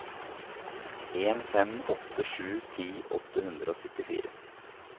en fem åtte sju ti åtte hundre og syttifire